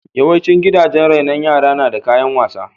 Yawaicin gidajen rainon yara na da kayan wasa.